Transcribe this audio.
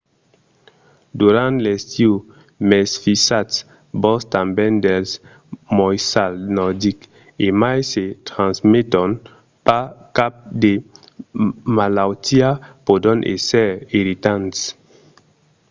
durant l’estiu mesfisatz-vos tanben dels moissals nordics. e mai se transmeton pas cap de malautiá pòdon èsser irritants